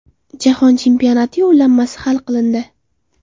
Jahon chempionati yo‘llanmasi hal qilindi.